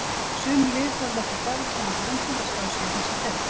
Sum lið höfðu ekki fjárhagslegan grunn til að skrá sig í þessa deild.